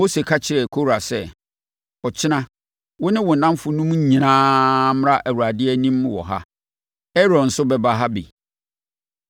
Mose ka kyerɛɛ Kora sɛ, “Ɔkyena wo ne wo nnamfonom nyinaa mmra Awurade anim wɔ ha. Aaron nso bɛba ha bi.